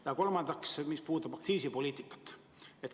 Ja kolmas küsimus puudutab aktsiisipoliitikat.